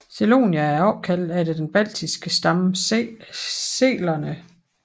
Selonia er opkaldt efter den baltiske stamme selerne